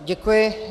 Děkuji.